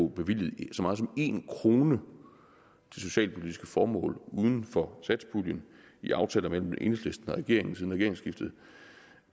bevilget så meget som en kroner til socialpolitiske formål uden for satspuljen i aftaler mellem enhedslisten og regeringen siden regeringsskiftet